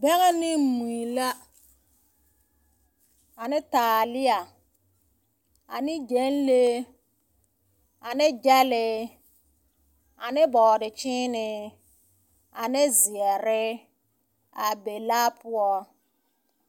Bɛŋɛ ne mui la ane taalea, ane gyɛnlee, ane gyɛlee ane bɔɔdekyeenee ane zeɛre a be laa poɔ. 13409